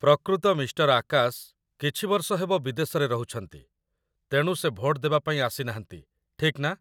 ପ୍ରକୃତ ମିଃ. ଆକାଶ କିଛି ବର୍ଷ ହେବ ବିଦେଶରେ ରହୁଛନ୍ତି, ତେଣୁ ସେ ଭୋଟ ଦେବା ପାଇଁ ଆସିନାହାନ୍ତି, ଠିକ୍ ନା?